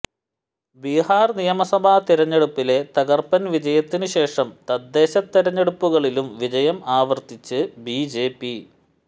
ബിഹാര് നിയമസഭാ തെരഞ്ഞെടുപ്പിലെ തകർപ്പൻ വിജയത്തിന് ശേഷം തദ്ദേശ തെരഞ്ഞെടുപ്പുകളിലും വിജയം ആവര്ത്തിച്ച് ബിജെപി